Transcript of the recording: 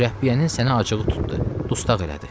Mürəbbiyənin sənə acığı tutdu, dustaq elədi.